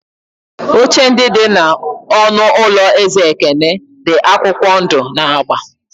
Oche ndị dị n'ọnụ ụlọ eze ekene di akwụkwọ ndụ na agba.